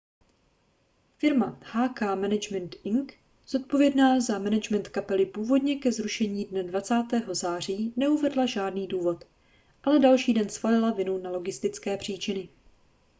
firma hk management inc zodpovědná za management kapely původně ke zrušení dne 20. září neuvedla žádný důvod ale další den svalila vinu na logistické příčiny